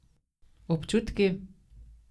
Občutki?